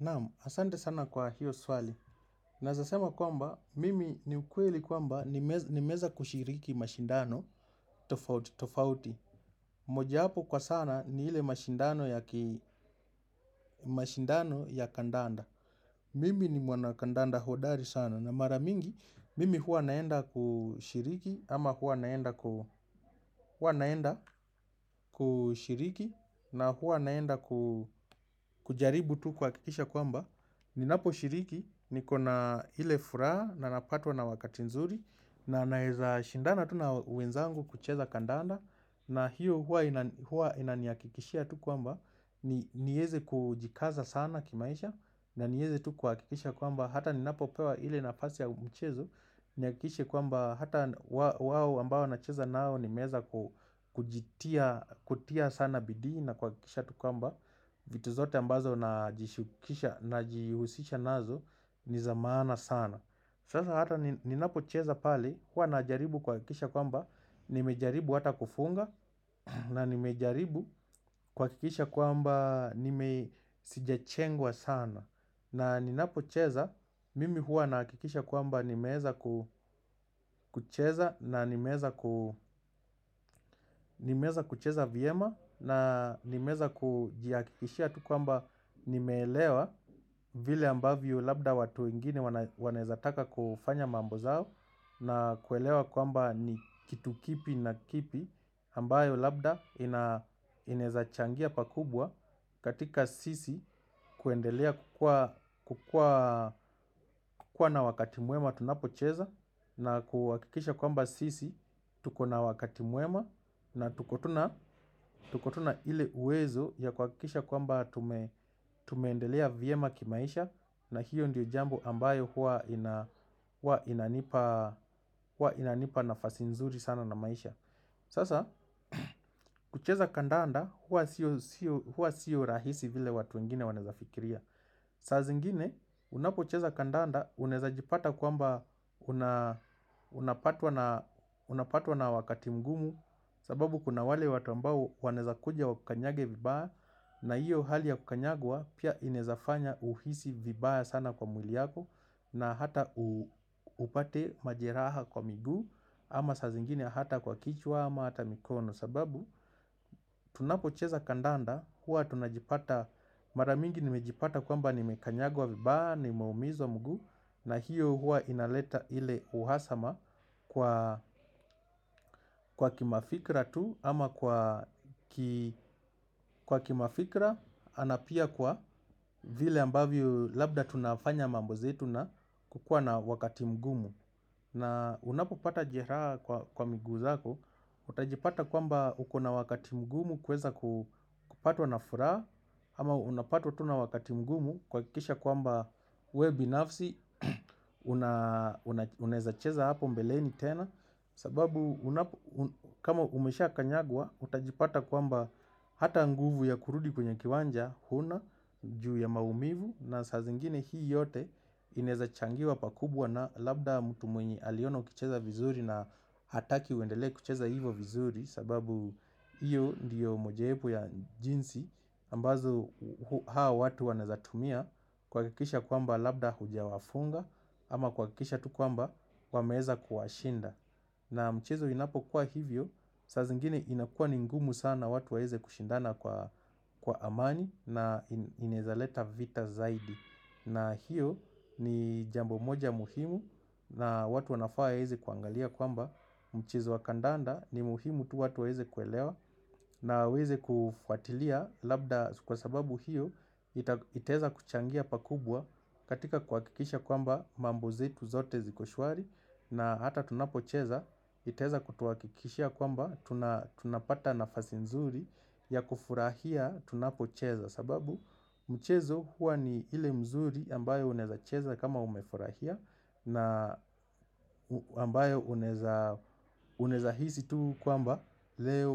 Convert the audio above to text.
Naamu, asante sana kwa hiyo swali. Naezasema kwamba, mimi ni ukweli kwamba nimeza kushiriki mashindano. Tofauti, tofauti. Moja hapo kwa sana ni hile mashindano ya kandanda. Mimi ni mwana kandanda hodari sana. Na maramingi, mimi hua naenda kushiriki ama hua naenda kushiriki na hua naenda kujaribu tu kwakisha kwamba. Ni naposhiriki ni kona ile furaa na napatwa na wakati nzuri na naeza shindana tu na wenzangu kucheza kandanda na hiyo hua ina niyakikishia tu kwamba ni heze kujikaza sana kimaisha na ni heze tu kwakikisha kwamba Hata ninapo pewa ile nafasi ya mchezo Niakikishe kwamba Hata wawo ambao nacheza nao nimeza kujitia sana bidi na kwakikisha tu kwamba vitu zote ambazo na jishukisha na jihusisha nazo ni zamana sana Sasa hata ninapo cheza pali hua najaribu kwakikisha kwamba Nimejaribu hata kufunga na nimejaribu kwakikisha kwamba nime sijachengwa sana na ninapo cheza mimi hua nakikisha kwamba nimeza kucheza na nimeza kucheza viema na nimeza kujiakishia tukwamba nimelewa vile ambavyo labda watu wengine wanezataka kufanya mambo zao na kuelewa kwamba ni kitukipi na kipi ambayo labda inezachangia pakubwa katika sisi kuendelea kukua na wakati muema tunapocheza na kuwakikisha kwamba sisi tukona wakati muema na tukotuna ili uwezo ya kuwakikisha kwamba tumendelea viema kimaisha na hiyo ndiyo jambo ambayo hua inanipa nafasi nzuri sana na maisha Sasa kucheza kandanda hua siyo rahisi vile watu wengine waneza fikiria Sazingine unapocheza kandanda uneza jipata kwamba unapatwa na wakati mgumu sababu kuna wale watu ambao waneza kuja wakanyage vibaya na hiyo hali ya kukanyagwa pia inezafanya uhisi vibaya sana kwa mwili yako na hata upate majeraha kwa migu Ama sazingine hata kwa kichwa ama hata mikono sababu tunapo cheza kandanda hua tunajipata maramingi nimejipata kwamba ni mekanyagua vibaya nimeumizo mgu na hiyo hua inaleta ile uhasama kwa kwa kimafikra tu ama kwa kimafikra anapia kwa vile ambavyo labda tunafanya mambo zetu na kukua na wakati mgumu na unapopata jeraha kwa migu zako, utajipata kwamba ukona wakati mgumu kweza kupatwa na furaa Ama unapatwa tu na wakati mgumu kwa kisha kwamba we binafsi, uneza cheza hapo mbeleni tena sababu kama umesha kanyagwa, utajipata kwamba hata nguvu ya kurudi kwenye kiwanja, huna, juu ya maumivu na saa zingine hii yote ineza changiwa pakubwa na labda mutumwenye aliona ukicheza vizuri na hataki uendele kucheza hivo vizuri sababu iyo ndiyo mojaepu ya jinsi ambazo hawa watu waneza tumia kwakikisha kwamba labda hujawafunga Ama kwa kikisha tu kwamba wameza kuwashinda na mchezo inapokuwa hivyo, saa zingine inakua ningumu sana watu waeze kushindana kwa amani na inezaleta vita zaidi. Na hiyo ni jambo moja muhimu na watu wanafaa eze kuangalia kwamba mchezo wa kandanda ni muhimu tu watu waeze kuelewa na weze kufuatilia labda kwa sababu hiyo iteza kuchangia pakubwa katika kwakikisha kwamba mambozetu zote zikoshwari na hata tunapocheza, iteza kutuwa kikishia kwamba tunapata nafasi mzuri ya kufurahia tunapocheza sababu mchezo huwa ni ile mzuri ambayo uneza cheza kama umefurahia na ambayo uneza hisi tu kwamba leo